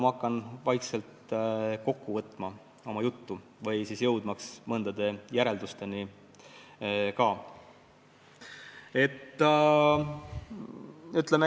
Hakkan vaikselt oma juttu kokku võtma ja ka mõningate järeldusteni jõudma.